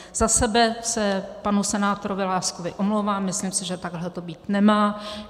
Za sebe se panu senátorovi Láskovi omlouvám, myslím si, že takhle to být nemá.